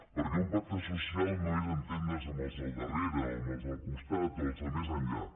perquè un pacte social no és entendre’s amb els del darrere amb els del costat o els de més enllà